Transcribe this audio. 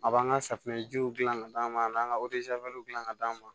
A b'an ka safunɛjiw dilan ka d'an ma an n'an ka dilan ka d'an ma